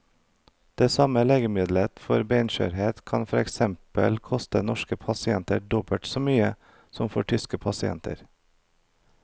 Det samme legemiddelet for benskjørhet kan for eksempel koste norske pasienter dobbelt så mye som for tyske pasienter.